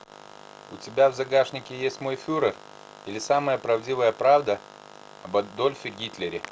у тебя в загашнике есть мой фюрер или самая правдивая правда об адольфе гитлере